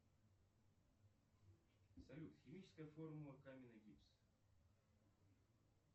салют химическая формула каменный гипс